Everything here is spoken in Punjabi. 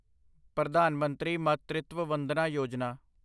ਪ੍ਰਧਾਨ ਮੰਤਰੀ ਮਾਤ੍ਰਿਤਵ ਵੰਦਨਾ ਯੋਜਨਾ